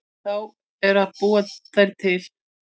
En þá er að búa þær til.